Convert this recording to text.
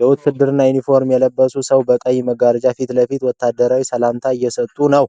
የውትድርና ዩኒፎርም የለበሰ ሰው በቀይ መጋረጃ ፊት ለፊት ወታደራዊ ሰላምታ እየሰጡ ነው።